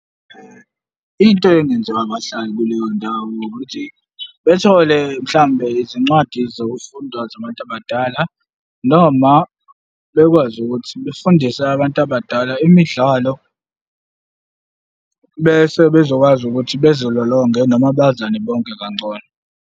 Into engenziwa abahlali kuleyo ndawo ukuthi bethole mhlawumbe izincwadi zokufunda zabantu abadala noma bekwazi ukuthi befundise abantu abadala imidlalo bese bezokwazi ukuthi bezilolonge noma bazane bonke kangcono.